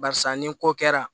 Barisa ni ko kɛra